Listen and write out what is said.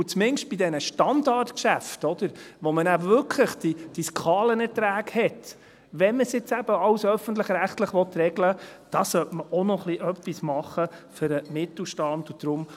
Und zumindest bei diesen Standardgeschäften, bei denen man dann wirklich diese Skalenerträge hat, wenn man jetzt eben alles öffentlich-rechtlich regeln will, sollte man auch noch etwas für den Mittelstand tun.